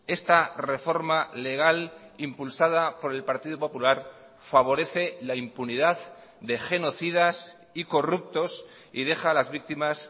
esta reforma legal impulsada por el partido popular favorece la impunidad de genocidas y corruptos y deja a las víctimas